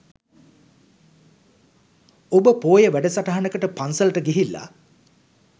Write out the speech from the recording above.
ඔබ පෝය වැඩසටහනකට පන්සලට ගිහිල්ලා